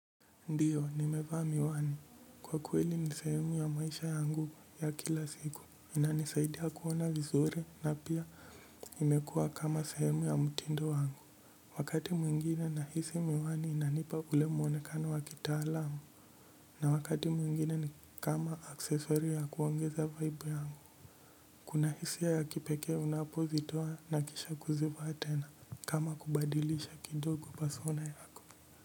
Ndiyo nimevaa miwani kwa kweli ni sehemu ya maisha yangu ya kila siku. Inanisaidia kuona vizuri na pia imekuwa kama sehemu ya mtindo wangu. Wakati mwingine nahisi miwani inanipa ule mwonekano wa kitaalamu. Na wakati mwingine ni kama accessory ya kuongeza vaibu yangu. Kuna hisia ya kipekee unapozitoa na kisha kuzivaa tena kama kubadilisha kidogo persona yako.